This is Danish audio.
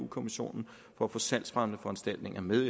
kommissionen for at få salgsfremmende foranstaltninger med